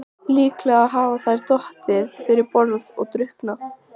Líklega hafa þær dottið fyrir borð og drukknað.